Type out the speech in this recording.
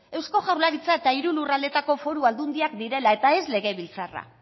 eusko jaurlaritza eta hiru lurraldeetako foru aldundiak direla eta ez legebiltzarra